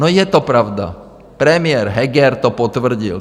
No, je to pravda, premiér Heger to potvrdil.